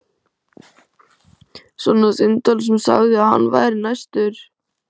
Svona símtal sem sagði að hann væri næstur.